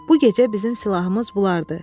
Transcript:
Bu gecə bizim silahımız bulardır.